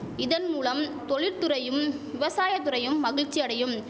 இதன் மூலம் தொழிற்துறையும் விவசாய துறையும் மகிழ்ச்சி அடையும்